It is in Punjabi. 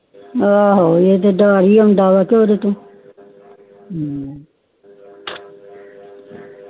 ਆਹੋ ਊੜਾ ਤੇ ਡਰ ਹੁੰਦਾ ਈ ਕੇ